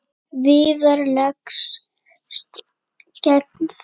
Viðar leggst gegn því.